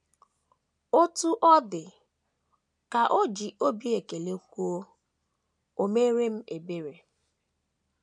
“ Otú ọ dị, ” ka o ji obi ekele kwuo, “ O meere m ebere. ”